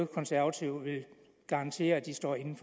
konservative vil garantere at de står inde